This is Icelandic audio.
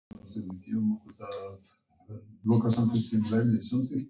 Honum finnst þú vera eins og fjalladrottning.